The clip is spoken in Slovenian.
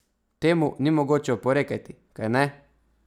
Temu ni mogoče oporekati, kajne?